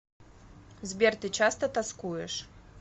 сбер ты часто тоскуешь